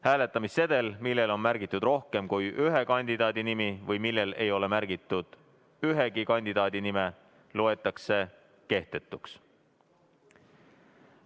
Hääletamissedel, millel on märgitud rohkem kui ühe kandidaadi nimi või millel ei ole märgitud ühegi kandidaadi nime, loetakse kehtetuks.